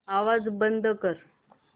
आवाज बंद कर